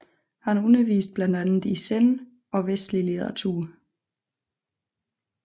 Han underviste blandt andet i zen og vestlig litteratur